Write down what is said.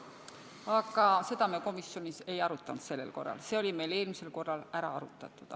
Aga seda me sel korral komisjonis ei arutanud, see sai meil eelmisel korral läbi arutatud.